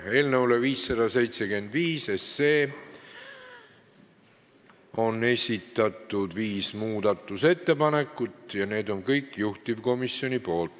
Eelnõu 575 kohta on esitatud viis muudatusettepanekut ja need on kõik juhtivkomisjonilt.